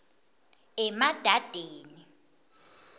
emadadeni